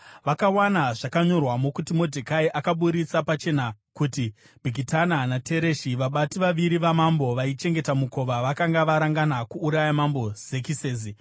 Vakawana zvakanyorwamo kuti Modhekai akaburitsa pachena kuti Bhigitana naTereshi, vabati vaviri vamambo vaichengeta mukova, vakanga varangana kuuraya Mambo Zekisesi.